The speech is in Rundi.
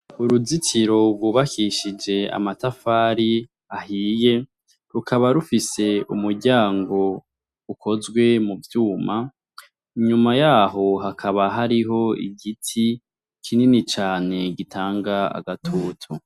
Uruzitiro rwubakishije amatafari ahiye, rukaba rufise umuryango ukozwe mu vyuma, inyuma yaho hakaba hariho igiti kinini cane gitanga agatutu.